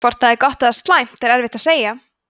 hvort þetta er gott eða slæmt er erfitt að segja